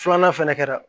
Filanan fɛnɛ kɛra